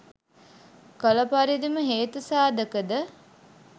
කළ පරිදිම හේතු සාධකද